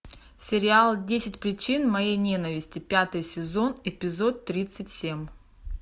сериал десять причин моей ненависти пятый сезон эпизод тридцать семь